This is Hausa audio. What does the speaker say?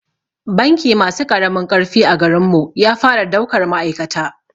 Banki masu ƙaramin ƙarfi a garin mu ya fara daukar ma'aikata